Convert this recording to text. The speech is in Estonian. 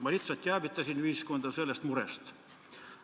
Ma lihtsalt teavitasin ühiskonda sellest murest.